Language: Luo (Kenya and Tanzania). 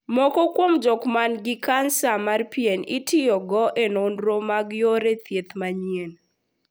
Moko kuom jok man gi kansa mar pien itiyogo e nonro mag yore thieth manyien.